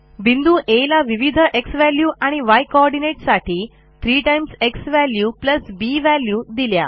बिंदू Aला विविध झ्वॅल्यू आणि य कोऑर्डिनेट साठी 3 झ्वॅल्यू बी व्हॅल्यू दिल्या